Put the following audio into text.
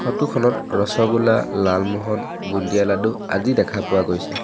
Photo খনত ৰছগুল্লা লালমোহন বুন্দিয়া লাডু আদি দেখা পোৱা গৈছে।